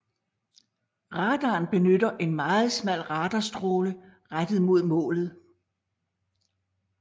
Radaren benytter en meget smal radarstråle rettet mod målet